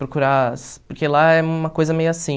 Procurar, porque lá é uma coisa meio assim...